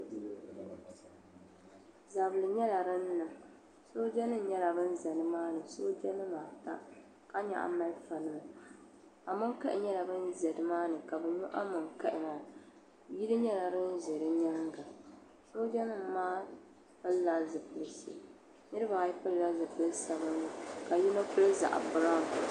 Zabili nyɛla din niŋ soojanima nyɛla ban za nimaani soojanima ata ka nyaɣi malifanima amonkahi nyɛla ban za nimaani ka bɛ nyo amonkahi maa yili nyɛla din ʒe di nyaaŋa soojanima maa pilila zipiliti niriba ayi pilila zipili sabinli ka yino pili zaɣ'biranwu.